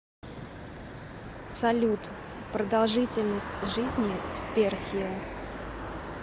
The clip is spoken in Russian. салют продолжительность жизни в персия